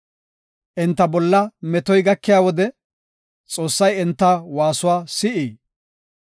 Enta bolla metoy gakiya wode, Xoossay enta waasuwa si7ii?